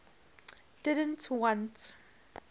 didn t want